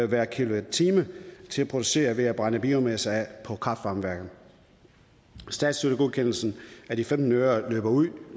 hver kilowatt time til at producere el ved at brænde biomasse af på kraft varme værkerne statsstøttegodkendelsen af de femten øre løber ud